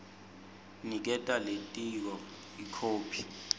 niketa lelitiko ikhophi